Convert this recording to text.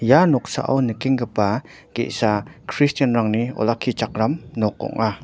ia noksao nikengipa ge·sa kristianrangni olakkichakram nok ong·a.